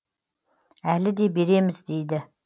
әлі де береміз дейді